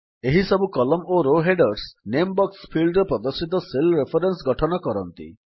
ଏହିସବୁ କଲମ୍ନ ଓ row headers name box ଫିଲ୍ଡରେ ପ୍ରଦର୍ଶିତ ସେଲ୍ ରେଫରେନ୍ସ ଗଠନ କରନ୍ତି